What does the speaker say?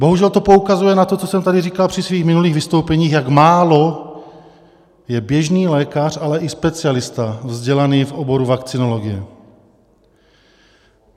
Bohužel to poukazuje na to, co jsem tady říkal při svých minulých vystoupeních, jak málo je běžný lékař, ale i specialista vzdělaný v oboru vakcinologie.